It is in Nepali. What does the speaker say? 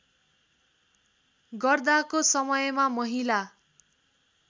गर्दाको समयमा महिला